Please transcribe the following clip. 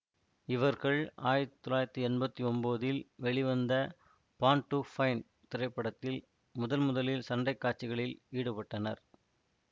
இவர்கள் ஆயிரத்தி தொள்ளாயிரத்தி என்பத்தி ஒன்பதில் வெளிவந்த பார்ன் டூ ஃபைட் திரைப்படத்தில் முதல்முதலில் சண்டை காட்சிகளில் ஈடுபட்டனர்